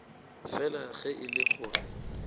fela ge e le gore